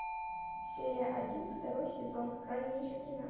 серия один второй сезон хранилище